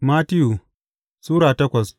Mattiyu Sura takwas